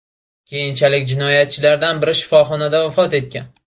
Keyinchalik jinoyatchilardan biri shifoxonada vafot etgan.